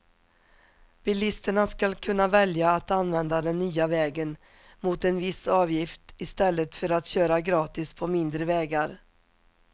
Bilisterna skall kunna välja att använda den nya vägen mot en viss avgift istället för att köra gratis på mindre vägar.